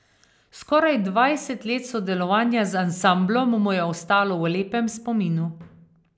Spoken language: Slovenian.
Skoraj dvajset let sodelovanja z ansamblom mu je ostalo v lepem spominu.